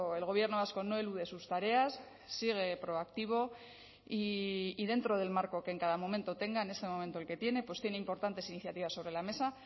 el gobierno vasco no elude sus tareas sigue proactivo y dentro del marco que en cada momento tenga en ese momento el que tiene pues tiene importantes iniciativas sobre la mesa